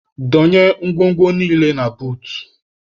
Donye ngwongwo niile a na buut.